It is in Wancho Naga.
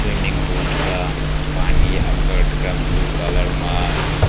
swimming pool threga pani akga taiga blue colour ma a.